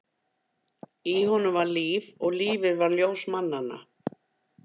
Í honum var líf, og lífið var ljós mannanna.